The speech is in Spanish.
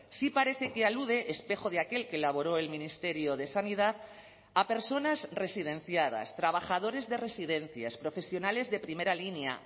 sí parece que alude espejo de aquel que elaboró el ministerio de sanidad a personas residenciadas trabajadores de residencias profesionales de primera línea